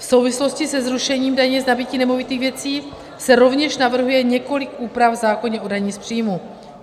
V souvislosti se zrušením daně z nabytí nemovitých věcí se rovněž navrhuje několik úprav v zákoně o dani z příjmů.